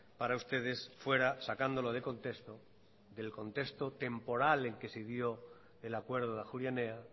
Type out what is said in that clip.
para ustedes fuera sacándolo de contexto del contexto temporal en que se dio el acuerdo de ajuria enea